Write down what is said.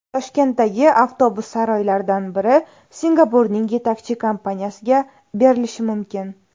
Toshkentdagi avtobus saroylaridan biri Singapurning yetakchi kompaniyasiga berilishi mumkin.